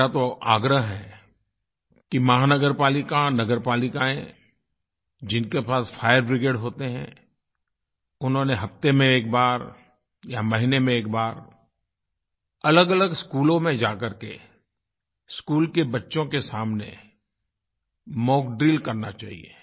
मेरा तो आग्रह है कि महानगर पालिका नगर पालिकाएँ जिनके पास फायर ब्रिगेड होते हैं उन्हें हफ़्ते में एक बार या महीने में एक बार अलगअलग स्कूलों में जा करके स्कूल के बच्चों के सामने मॉक ड्रिल करना चाहिये